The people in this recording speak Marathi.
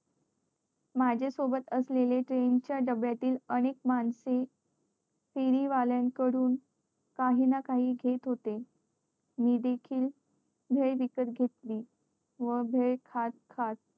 माझ्या सोबत असलेले train च्या डब्यातील अनेक माणसे फेरी वाल्यान कडून काही ना काही घेत होते मी देखील भेळ विकत घेतली व भेळ खात खात